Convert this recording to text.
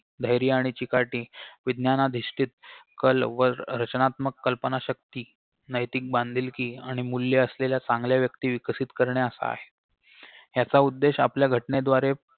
धैर्य आणि चिकाटी विज्ञानाधिष्टीत कल वर रचनात्मक कल्पनाशक्ती नैतिक बांधिलकी आणि मूल्ये असलेल्या चांगल्या व्यक्ती विकसित करणे असा आहे याचा उद्देश आपल्या घटनेद्वारे